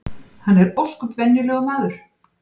Hann er ósköp venjulegur maður